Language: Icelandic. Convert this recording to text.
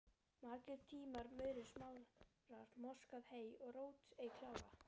Margir tína murur, smára, moskað hey og rót ei klára